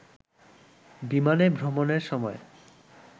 বিমানে ভ্রমণের সময়